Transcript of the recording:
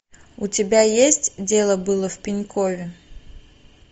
у тебя есть дело было в пенькове